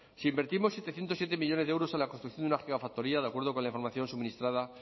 si invertimos setecientos siete millónes de euros en la construcción de una gigafactoría de acuerdo con la información suministrada